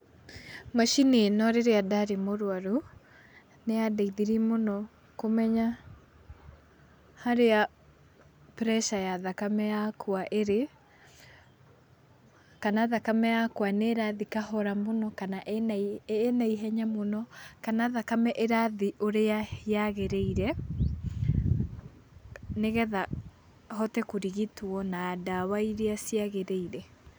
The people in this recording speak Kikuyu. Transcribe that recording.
Macini ĩno rĩrĩa ndarĩ mũrwaru, nĩyandeithiri mũno kũmenya harĩa pressure ya thakame yakwa ĩrĩ, kana thakame yakwa nĩ ĩrathi kahora mũno kana ĩna ihenya mũno kana thakame ĩrathi ũrĩa yagĩrĩire nĩgetha hote kũrigitwo na ndawa iria ciagĩrĩire.